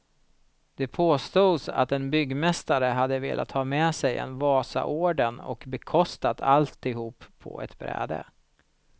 Det påstods att en byggmästare hade velat ha sig en wasaorden och bekostat allihop på ett bräde.